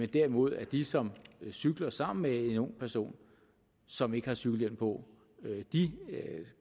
derimod de som cykler sammen med en ung person som ikke har cykelhjelm på